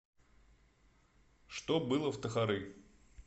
что было в тохары